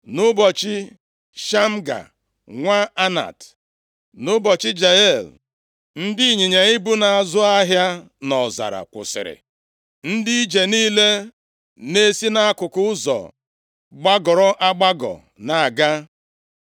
“Nʼụbọchị Shamga, nwa Anat, nʼụbọchị Jael, ndị ịnyịnya ibu na-azụ ahịa nʼọzara kwusịrị, ndị ije niile na-esi nʼakụkụ ụzọ gbagọrọ agbagọ na-aga.